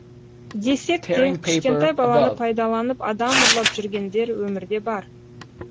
десек те кішкентай баланы пайдаланып адам ұрлап жүргендер өмірде бар